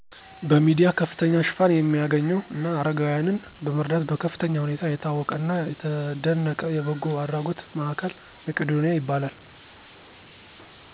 በሚዲያ ከፍተኛ ሽፋን የሚያገኝው እና አረጋዊያንን በመርዳት በከፍተኛ ሁኔታ የታወቀና የተደነቀ የበጎ አድራጎት ማዕከል መቂዶኒያ ይባላል።